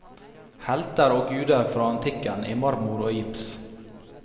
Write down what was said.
Helter og guder fra antikken i marmor og gips.